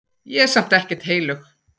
Ég er samt ekkert heilög.